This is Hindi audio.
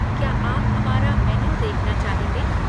क्या आप हमारा मेन्यू देखना चाहेंगे?